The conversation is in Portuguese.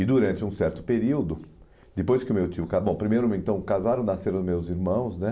E durante um certo período, depois que o meu tio ca , bom, primeiro então casaram, nasceram meus irmãos, né?